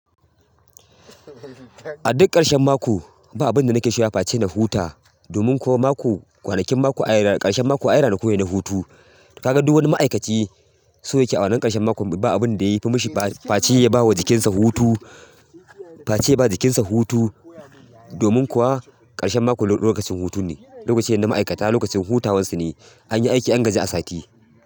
A duk ƙarshen mako ba abin da nake shiryawa face huta. Domin kuwa mako, kwanakin mako ai ƙarshen mako ai ranaku ne na hutu. Kaga duk wani ma'aikaci so yake awannan ƙarshen mako. Ba abin da yafi mishi face yabawa jikinsa hutu. Face ba jikinsa hutu. Domin kuwa ƙarshen mako lokacin hutu ne, lokacin na ma'aikata lokacin hutawansu ne. Anyi aiki an gaji a sati.